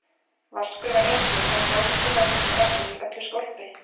Vaskur var enginn, en klósettið notað til að hella í öllu skólpi.